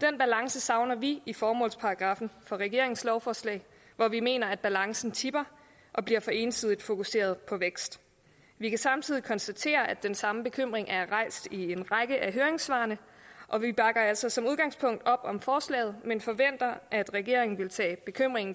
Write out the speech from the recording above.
den balance savner vi i formålsparagraffen for regeringens lovforslag hvor vi mener at balancen tipper og bliver for ensidigt fokuseret på vækst vi kan samtidig konstatere at den samme bekymring er rejst i en række af høringssvarene og vi bakker altså som udgangspunkt op om forslaget men forventer at regeringen vil tage bekymringen